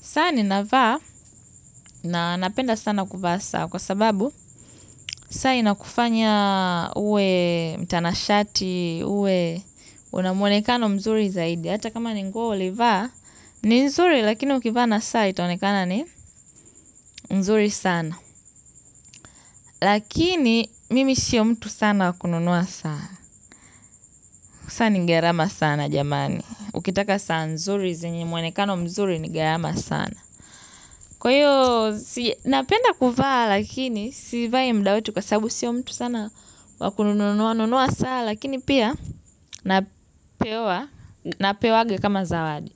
Saa ninavaa, na napenda sana kuvaa saa kwa sababu s saa inakufanya uwe mtanashati uwe una mwonekano mzuri zaidi. Hata kama ni nguo ulivaa ni nzuri lakini ukivaa na saa itaonekana ni nzuri sana. Lakini mimi sio mtu sana wa kununua saa. Sani ni gharama sana jamani. Ukitaka saa nzuri zenye muonekano mzuri ngharama sana. Kwa hiyo, si napenda kuvaa lakini, sivai mda wote kwa sababu sio mtu sana wa ku nunua nunua, saa lakini pia napewa, napewangwa kama zawadi.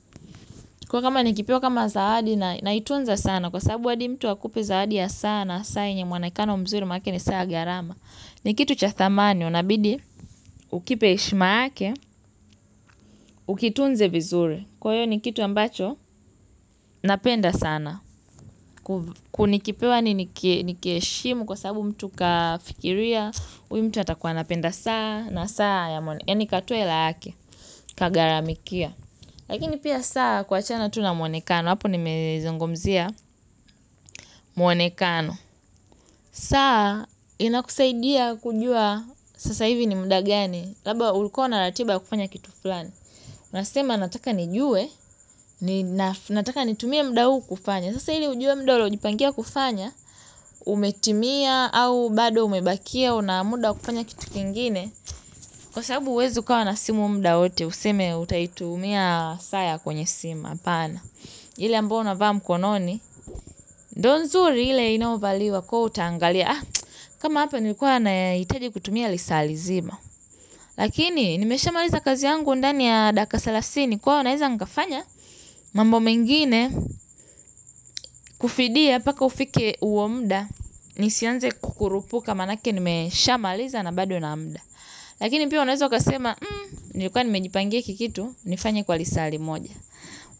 Kwa kama nikipewa kama zawadi na naitunza sana, kwa sababu adi mtu akupi zawadi ya saa na saa yenye muonekano mzuri maanake ni saa ya gharama. Ni kitu cha dhamani, unabidi, ukipe heshima yake, ukitunze vizuri. Kwa hiyo ni kitu ambacho, napenda sana. Kuv ku nikipewa yaani niki nikiheshimu kwa sababu mtu kafikiria. Uyu mtu hatakuwa napenda saana. Saa ya Eni katue la hake, kagharamikia. Lakini pia saa kuachana tu na muonekano. Hapo nimezungumzia muonekano. Saa inakusaidia kujua sasa hivi ni mda gani labda ulikuwa na ratiba ya kufanya kitu flani nasema nataka nijue ni naf nataka nitumie mda huu kufanya sasa ili ujue mda ulionipangia kufanya umetimia au bado umebakia una muda wa kufanya kitu kingine kwa sababu huwezi ukawa na simu mda wote, useme utaitumia saa ya kwenye simu apana. Ile ambayo unavaa mkononi, ndio nzuri ile inayovaliwa kwaivo utangalia. Kama hapa nilikuwa nahitaji kutumia lisaa lizima. Lakini, nimeshamaliza kazi yangu ndani ya dakika selasini, kwaivo naeza nkafanya mambo mengine kufidia mpaka ufike huo mda. Nisianze kukurupuka maanake nimeshamaliza na bado nina mda. Lakini pia unaweza ukasema. Nilikua nimejipanga hiki kitu. Nifanye kwa lisaa limoja.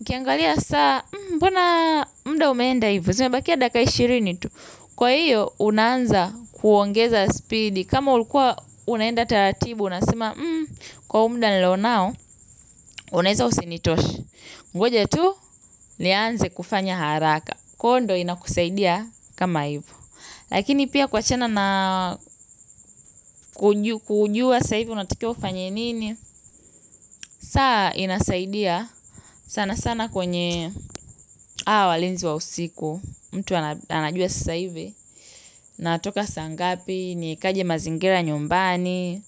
Ukiangalia saa mbona mda umeenda hivo. Zimebakia dakika ishirini tu. Kwa hiyo unaanza kuongeza speedi. Kama ulikua unaenda taratibu unasema kwa huu mda nilio nao unaeza usinitoshe ngoja tu. Nianze kufanya haraka Kondo inakusaidia kama hivo. Lakini pia kuachana na kujua sasa hivi unataka ufanye nini. Saa inasaidia sana sana kwenye awa walinzi wa usiku. Mtu ana anajua sasa hivi. Natoka saa ngapi nikaje mazingira nyumbani.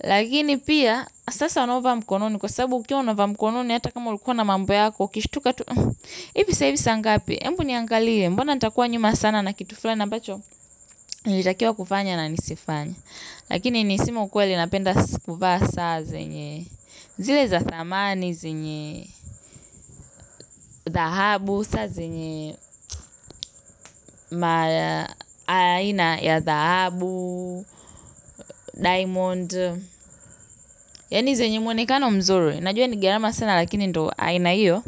Lakini pia sasa unavaa mkononi kwa sababu ukiwa umevaa mkononi hata kama ulikuwa na mambo yako uKishituka tu. Ivi sasa hivi saa ngapi ebu niangalie. Mbuna natakuwa nyuma sana na kitu fulani ambacho nilitakiwa kufanya na nisifanye. Lakini ni kusema kwele napenda sikuvaa saa zenye zile za dhamani zenye dhahabu saa zenye maa aina ya dhahabu Diamond. Yani zenye muonekano mzuri. Najua ni gharama sana lakini ndo aina iyo.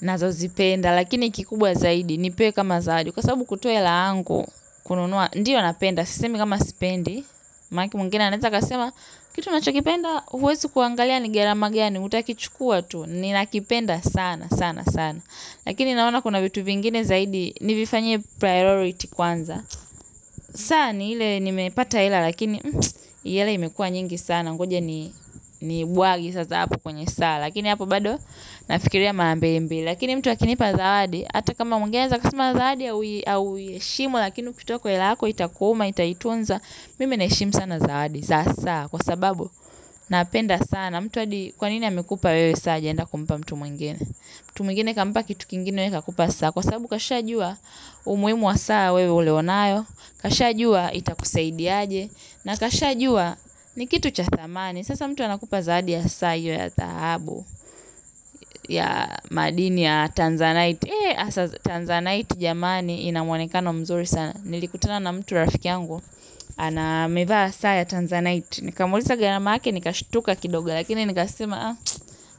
Nazo zipenda lakini kikubwa zaidi. Nipee kama zawadi. Kwa sababu kutuoa hela yangu kununua. Ndiyo napenda sisemi kama sipendi maanake mwingine anaeza kasema. Kitu unacho kipenda huwezi kuangalia ni gharama gani utakichukua tu, ninakipenda saana saana sana lakini naona kuna vitu vingine zaidi nivifanye priority kwanza saa na ile nimepata hela lakini hii hela imekua nyingi sana ngoja ni niibwage sasa hapo kwenye saa lakini hapo bado nafikiria mara mbili mbili lakini mtu akinipa zawadi ata kama mwingine anaweza kasema zawadi haui hauiheshimu lakini ukitoa kwa hela yako itakuuma itaitunza mimi naheshimu sana zawadi za saa kwa sababu napenda saana. Na mtu hadi kwanini amekupa wewe saa hajaenda kumpa mtu mwingine. Mtu mwingine kampa kitu kingine wewe kakupa saa. Kwa sababu kasha jua umuhimu wa saa wewe ulionayo. Kasha jua itakusaidiaje. Na kasha jua ni kitu cha dhamani. Sasa mtu anakupa zaadi ya saa hiyo ya dhahabu ya madini ya Tanzanite. Eh, Tanzanite jamani ina mwonekano mzuri sana. Nilikutana na mtu rafiki yangu. Ana amevaa saa ya Tanzanite. Nikamuuliza gharama yake nikashutuka kidoga. Lakini nikasema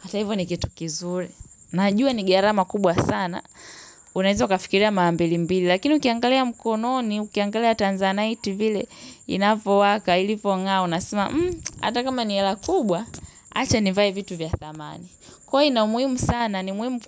hata hivyo ni kitu kizuri najua ni gharama kubwa sana unaweza ukafikiria mara mbili mbili lakini ukiangalia mkononi ukiangalia tanzanite vile inavyowaka ilivyongaa unasema atakama ni ya wakubwa acha nivae vitu vya dhamani kwa hiyo ina muhimu sana ni muhim.